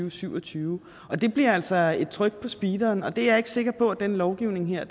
og syv og tyve og det bliver altså et tryk på speederen og det er jeg ikke sikker på den lovgivning her